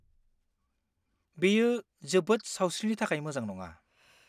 बेयो जोबोद सावस्रिनि थाखाय मोजां नङा।